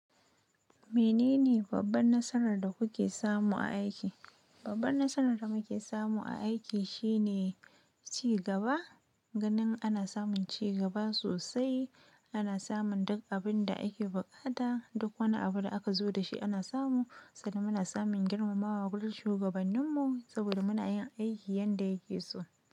Menene babban nasarar da kuke samu a aiki? Babbar nasarar da muke samu a aiki shine ci gaba. Ganin ana samun cigaba sosai, ana samun duk abin da ake buƙata, duk wani abu da aka zo da shi ana samu, sannan muna samun girmamawa gurin shugabanninmu saboda muna yin aiki yanda ya ke so.